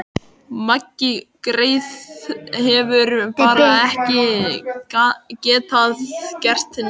Maggi greyið hefur bara ekki getað gert neitt.